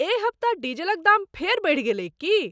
एहि हप्ता डीजलक दाम फेर बढ़ि गेलैक की?